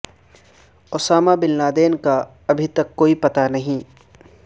Usama bin Laden کا ابھی تک کوئی پتہ نہیں